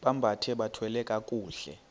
bambathe bathwale kakuhle